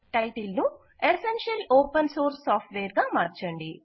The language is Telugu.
టైటిల్ ను ఎసెన్షియల్ ఓపెన్ సోర్స్ సాఫ్ట్ వేర్గా మార్చండి